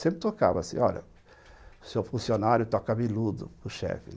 Sempre tocava assim, olha, o seu funcionário tocava iludo, o chefe, né?